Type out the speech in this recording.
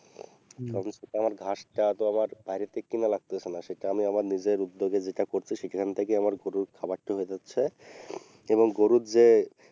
সেতো আমার ঘাসটা তো আমার বাইরে থেকে কেনা লাগতেছে না সেটা আমি আমার নিজের উদ্যোগে যেটা করছি সেইখান থেকেই আমার গরুর খাবারটা হয়ে যাচ্ছে এবং গরুর যে,